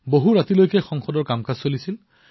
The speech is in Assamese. বহু নিশালৈ সংসদৰ কাম হৈছিল